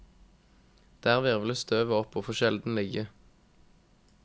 Der hvirvles støvet opp og får sjelden ligge.